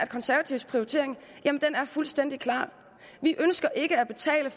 konservatives prioritering er fuldstændig klar vi ønsker ikke at betale